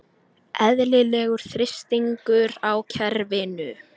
Eðlilegur þrýstingur á kerfinu